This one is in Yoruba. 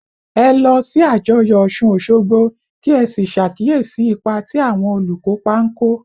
Ẹ lọ sí àjọyọ̀ Òsun-òṣogbo, kí ẹ sì ṣàkíyèsí ipa tí àwọn olùkópa ń kó